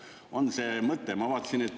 On see mõte?